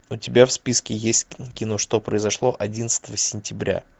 у тебя в списке есть кино что произошло одиннадцатого сентября